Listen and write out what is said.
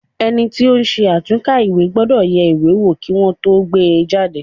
Ẹni tí ó ń ṣe àtúnkà ìwé gbọ́dọ̀ yẹ ìwé wo kí Wọ́n tó gbé e jáde.